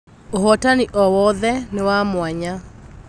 ũhotani o-wothe nĩwamwanya.